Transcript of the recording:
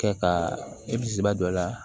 Kɛ ka e bisimila don a la